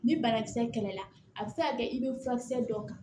Ni banakisɛ kɛlɛla a bɛ se ka kɛ i be furakisɛ dɔ kan